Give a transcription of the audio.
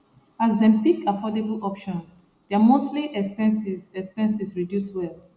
as dem pick affordable options their monthly expenses expenses reduce well